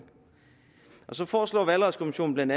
så foreslår valgretskommissionen